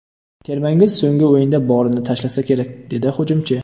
Termangiz so‘nggi o‘yinda borini tashlasa kerak”, - dedi hujumchi.